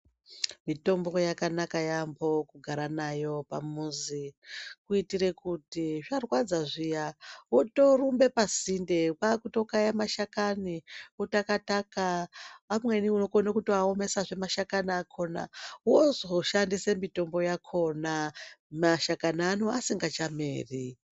Mitombo yakanaka yaamho kugara nayo pamuzi kuitira kuti zvarwadza zviya wotorumbe pasinde, kwakutokaye mashakani, wotaka-taka, amweni unokona kutoaomesazve mashakani akhona, amwe wozoshandisa mishonga yakhona mashakani ano asingachameri.